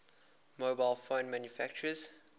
mobile phone manufacturers